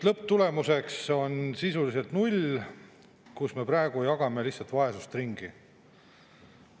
Lõpptulemuseks on sisuliselt null, me praegu jagame lihtsalt vaesust ringi.